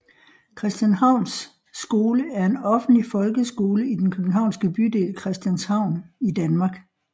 Christianshavns Skole er en offentlig folkeskole i den københavnske bydel Christianshavn i Danmark